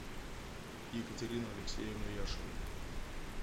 екатерину алексеевну яшину